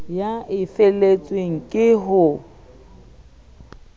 eo e feletswe ke ho